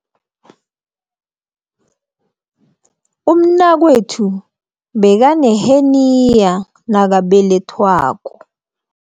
Umnakwethu bekaneheniya nakabelethwako.